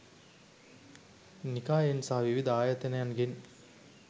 නිකායෙන් සහ විවිධ ආයතනයන්ගෙන්